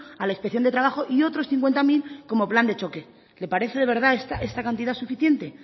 a la inspección de trabajo y otros cincuenta mil como plan de choque le parece de verdad esta cantidad suficiente